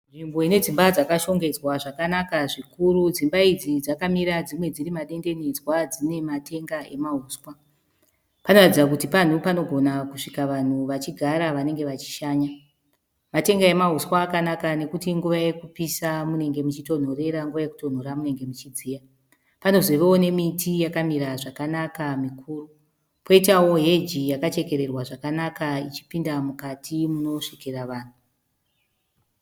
Nzvimbo ine dzimba dzakashongedzwa zvakanaka zvikuru. Dzimba idzi dzakamira dzimwe dzine madendenedza dzine matenga emahuswa. Panoratidza kuti panhu panogona kusvika vanhu vachigara vanenge vachishanya. Matenga emahuswa akanaka nekuti nguva yekupisa munenge muchitonhorera nguva yekutonhora munenge muchidziya. Panozovewo nemiti yakamira zvakanaka mikuru. Poitawo heji yakachekererwa zvakanaka ichipinda mukati munosvikira vanhu.